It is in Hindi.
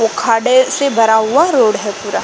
वो खाड्डे (गड्ढे) से भरा हुआ रोड है पूरा।